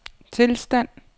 tilstand